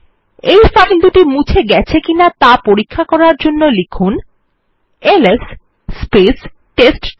এই ফাইল দুটি মুছে গেছে কিনা ত়া পরীক্ষা করার জন্য লিখুন এলএস টেস্টডির